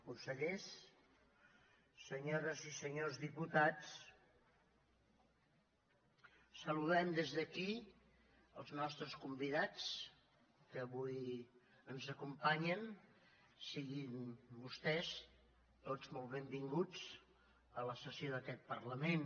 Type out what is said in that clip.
consellers senyores i senyors diputats saludem des d’aquí els nostres convidats que avui ens acompanyen siguin vostès tots molt benvinguts a la sessió d’aquest parlament